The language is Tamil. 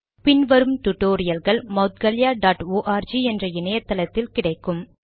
பின் வரும் டுடோரியல்கள் moudgalyaஆர்க் என்ற இணைய தளத்தில் கிடைக்கும்